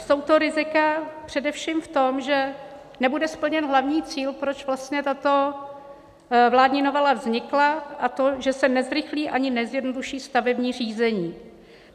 Jsou to rizika především v tom, že nebude splněn hlavní cíl, proč vlastně tato vládní novela vznikla, a to, že se nezrychlí ani nezjednoduší stavební řízení.